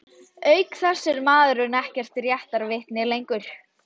ÞÚ VEIST GREINILEGA EKKERT Í ÞINN HAUS!